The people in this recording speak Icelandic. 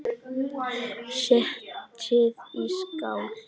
Setjið í skál.